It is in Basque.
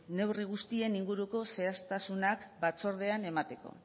neurri guztien inguruko zehaztasunak batzordean emateko